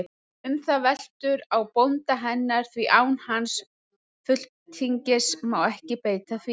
Um það veltur á bónda hennar, því án hans fulltingis má ekki beita því.